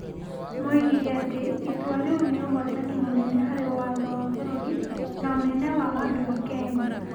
moigire atĩ itua rĩu nĩ ũhootani mũnene harĩ watho wa bũrũri na ũnene wa andũ a Kenya.